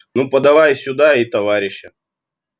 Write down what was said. ну подавай сюда и товарища